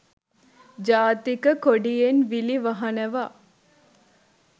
ජාතික කොඩියෙන් විලි වහනවා